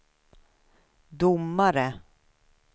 domare